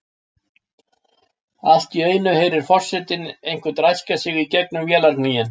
Allt í einu heyrir forsetinn einhvern ræskja sig í gegnum vélargnýinn.